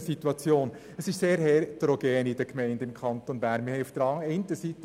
der BiK. Die aktuelle Situation in den Gemeinden im Kanton Bern ist sehr heterogen.